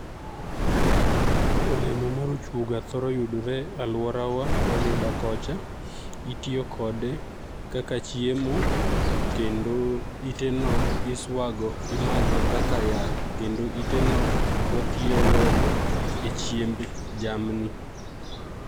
Olemo mar ochuoga thoro ga yudore e alworawa Rarieda kocha. Itiyo kode kaka chiemo, kendo ite no iswago, imadho kaka yath. Kendo ite no watiyo godo e chiemb jamni.